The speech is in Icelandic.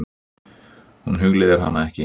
Hún hugleiðir hana ekki.